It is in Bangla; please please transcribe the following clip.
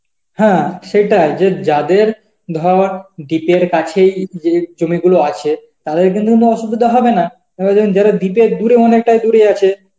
হ্যাঁ সেটাই যে যাদের ধর deep এর কাছেই যে জমিগুলো আছে তাদের কিন্তু কোন অসুবিধা হবে না ও একজন ধরো deep এর দূরে অনেকটাই দূরে আছে